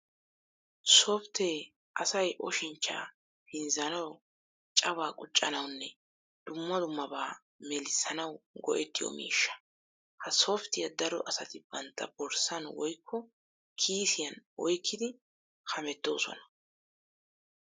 Softtee asay oshinchchaa pinzzanawu cawaa quccanawunne dumma dummabaa melissanawu go'ettiyo miishsha. Ha softtiya daro asati bantta borssan woyikko kiisiyan oyikkidi hamettoosona.